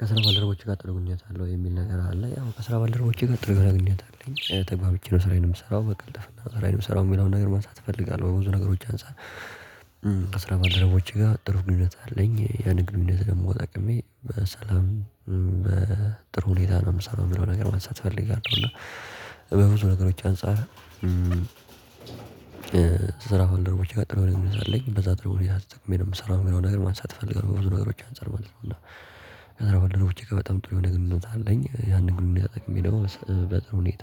ከስራ ባለደረቦቼ ጋር ጥሩ ግንኙነት አለ ወይ የሚል ነገር አለ ያው ከስራ ባለደረቦቼ ጋር ጥሩ የሆነ ግንኙነት አለኝ ተግባብቼ ነው ስራዬን የምሰራው በቀልጥፍና ሰራዬን የምሰራው የሚለውን ነገር ማንሳት እፈልጋለሁ በብዙ ነገሮች አንፃር አስራ አራት ድረስ ውጪ ጋር ጥሩ ግንኙነት አለኝ ያን ግንኙነት ለመወጣቅሜ በሰላም በጥሩ ሁኔታ ነው የምሰራው የሚለውን ነገር ማንሳት እፈልጋለሁ እና በብዙ ነገሮች አንፃር ስራ ባልደረቦች ጋር ጥሩ ነገር አለኝ በዛ ድርብ ቤት አስጠቅሜ ነው የምሰራው ግን አሁን ነገር ማንሳት እፈልጋለሁ በብዙ ነገሮች አንፃር ማለት ነው እና ከዛ በኋላ ደግሞ እርግጠኛ በጣም ጥሩ የሆነ ግንኙነት አለኝ ያንን ግንኙነት ተጠቅሜ ደግሞ በጥሩ ሁኔታ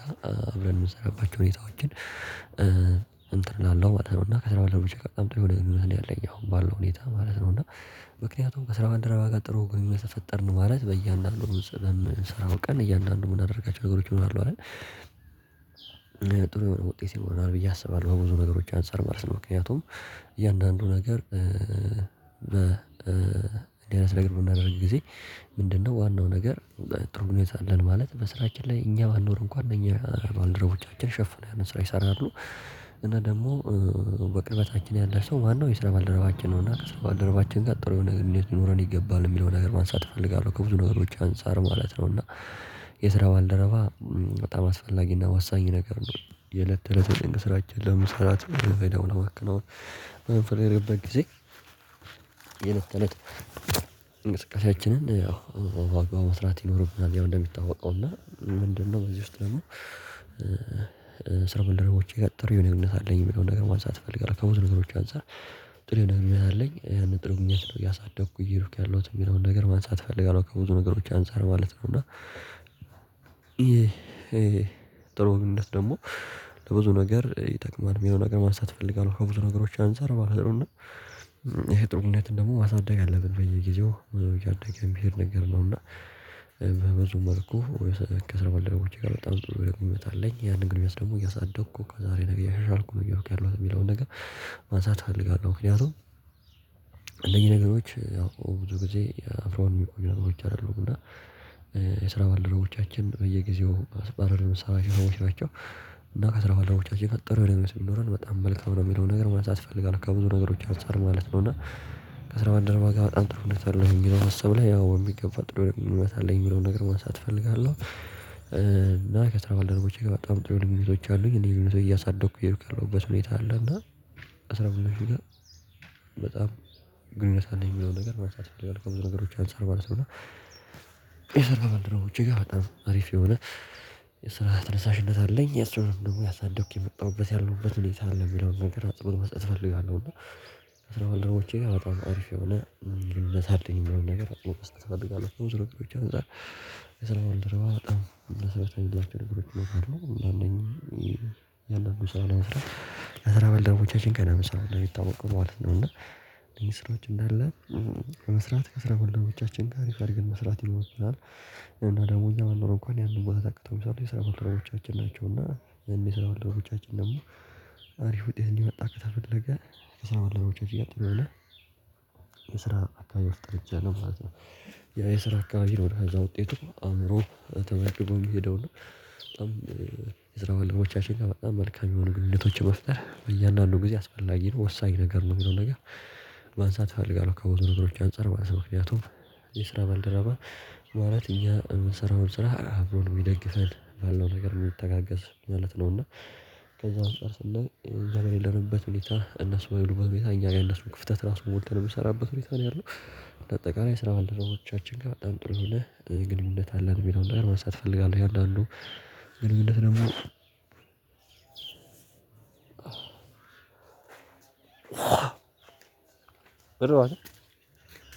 አብረን የምሰራባቸው ሁኔታዎችን እንትን እላለሁ አለውና ከስራው አለው በቃ በጣም ብዙ ጊዜ ያለው ያው ባለው ሁኔታ ማለት ነው እና ምክንያቱም ከስራ ባደረገው ጋር ጥሩ ግንኙነት ተፈጠርን ማለት በእያንዳንዱ ስራውን ቀን እያንዳንዱ የምናደርጋቸው ነገሮች እሆናለሁ አይደል ጥሩ የሆነ ውጤት ይኖረናል ብዬ አስባለሁ በብዙ ነገሮች አንፃር ማለት ነው ምክንያቱም እያንዳንዱ ነገር እንደዚህ አይነት ለግል በምናደርግ ጊዜ ምንድነው ዋናው ነገር ጥሩ ግንኙነት አለን ማለት በስራችን ላይ እኛ ባንኖር እንኳን እኛ ድሮዎቻችን ሸፍነው ያንን ስራ ይሰራሉ እና ደግሞ በቅርበታችን ያለ ሰው ማነው የስራ ባልደረባችን ነው እና ከስራ ባልደረባችን ጋር ጥሩ የሆነ ግንኙነት ይኖረን ይገባል የሚለውን ነገር ማንሳት እፈልጋለሁ ከብዙ ነገሮች አንፃር ማለት ነው እና የስራ ባልደረባ በጣም አስፈላጊ እና ወሳኝ ነገር ነው የእለት ተእለት የጥንቅ ስራችን ለመስራት ባለው ለመክነው የምትከናውነው በፈለገበት ጊዜ የለት ተእለት እንቅስቃሴያችንን ያው በአግባቡ መስራት ይኖርብናል ያው እንደሚታወቀው እና ምንድነው በዚህ ውስጥ ደግሞ ከስራ ባልደረቦቼ ጋር ጥሪ የሆነ ግንኙነት አለኝ የሚለውን ነገር ማሳተፍ አትፈልግም ከብዙ ነገሮች አንፃር ጥሩ ነገር ልኝነት አለኝ ያን ጥሩ እኛ ስለው እያሳደኩ እየሄዱኩ ያለሁት የሚለውን ነገር ማንሳት እፈልጋለሁ ከብዙ ነገሮች አንፃር ማለት ነው እና ጥሩ ግንኙነት ደግሞ ለብዙ ነገር ይጠቅማል የሚለው ነገር ማንሳት እፈልጋለሁ ከብዙ ነገሮች አንፃር ማለት ነው እና ይሄ ጥሩነትን ደግሞ ማሳደግ አለብን በየጊዜው እያደገ ሚሄድ ነገር ነው እና በዚህ መልኩህ ከስራ ባለለቦቼ ጋር በጣም ዝርዝር የሚመጣልኝ ያንን ግንኙነት ደግሞ እያሳደኩ ከዛሬ ነገር እያሻልኩ ነው የሚለውን ነገር ማንሳት እፈልጋለሁ ምክንያቱም ነገሮች ያው ብዙ ጊዜ አፍራም የሚቆይ ነገሮች አይደሉም እና የስራ ባልደረቦቻችን በየጊዜው አስባለር የምሰራቸው ሰዎች ናቸው እና ከስራ ጓደኞቻችን ጥሩ ልብ ሲኖረን በጣም መልካም ነው የሚለውን ነገር ማለት አስፈልጋለሁ ከብዙ ነገሮች አንፃር ማለት ነው እና ከስራ ባደረገው ጋር በጣም ጥሩ እውነት አለው ይሄን ማሰብ ላይ ያው በሚገባ ጥሩ ግንኙነት አለኝ የሚለውን ነገር ማንሳት እፈልጋለሁ እና ከስራ ባልደረቦቼ ጋር በጣም ጥሩ ግንኙነቶች አሉኝ እንዴ የሆነ ሰው እያሳደኩ እየሄዱኝ ያለው በስነ ሁኔታ አለ እና አስራ ብር ጋር በጣም ግንኙነት አለኝ የሚለውን ነገር ማለት እፈልጋለው ከብዙ ነገሮች አንፃር ማለት ነው። የስራ ባልደረቦች ጋር በጣም አሪፍ የሆነ የስራ ተነሳሽነት አለኝ የሱም ደግሞ እያሳደኩኝ የመጣሁበት ያለሁበት ሁኔታ አለ የሚለውን ነገር አጽኖት መስጠት እፈልጋለሁ እና አስራ አራት ወልድሮዎቼ ጋር በጣም አርፍ የሆነ ግን ለሳለኝ የሚሆን ነገር አቅም በስተቀር ትፈልጋለች ትሩቅ ቤት ዘርግሮች አንፃር የሰላም ወልደረባ በጣም መስመር ትሩቅ ቤት ነገሮች ነው እንደውም እኔ ያለን ሰው ላይ አስራ ለሰላሳ በልደሮቻችን ገና መስራት ነው የሚታወቀው ማለት ነው እና እነዚህ ስራዎች እንዳለ ከመስራት ከስራ ባልደረቦቻችን ጋር አሪፍ አርገን መስራት ይኖርብናል እና ደግሞ እዛ ባንኖር እንኳን ያንን ቦታ ተክተው የሰላም ኦርትራውቻችን ናቸው ናቸውና የሰላው ወልደቦቻችን ደግሞ አሪፍ ውጤት እንዲመጣ ከተፈለገ የሰራው አለመቼ አትሉም የስራ አካባቢ ውስጥ ጥርጫ ነው ማለት ነው ያ የስራ አካባቢ ወደ አዛ ውጤቱ አእምሮ ተመልክቶ የሚሄደው በጣም ከስራ ባልደረቦቻችን ጋር በጣም መልካም የሆኑ ግንኙነቶችን መፍጠር በእያንዳንዱ ጊዜ አስፈላጊ ነው ወሳኝ ነገር ነው የሚለው ነገር ማንሳት እፈልጋለሁ ከውድድሮች አንፃር ባለሰው ምክንያቱም የስራ ባልደረባ ማለት እያ የምሰራውን ስራ አብሮ ነው የሚደግፈን ባለው ነገር ነው የምትተጋገስ ማለት ነው እና ከዛ አንፃር እንደ እንደሌለንበት ሁኔታ እነሱ በሉበት ሁኔታ እኛ ላይ እነሱ ክፍተት ራሱን ሞልተን የምሰራበት ሁኔታ ነው ያለው አጠቃላይ ስራ ባልደረሶቻችን ጋር በጣም ጥሩ ይሁን ግልምደት አለን ቢለው እንደው ማንሳት እፈልጋለሁ ይወዳሉ ግልምደት ግንኙነት ደግሞ በረባቸው